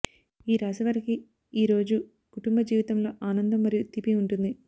ఈ రాశి వారికి ఈరోజు కుటుంబ జీవితంలో ఆనందం మరియు తీపి ఉంటుంది